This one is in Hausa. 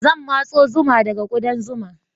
Zan matso zuma daga ƙudan zuma.